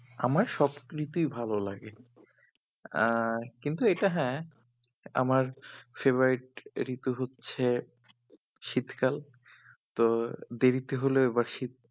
আমার সব ঋতুই ভালো লাগে আহ কিন্তু এটা হ্যাঁ আমার favourite ঋতু হচ্ছে শীতকাল তো দেরিতে হলেও বা শীত